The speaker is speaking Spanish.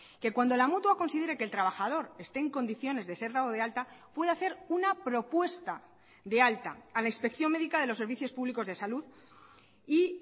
que cuando la mutua considere que el trabajador esté en condiciones de ser dado de alta puede hacer una propuesta de alta a la inspección médica de los servicios públicos de salud y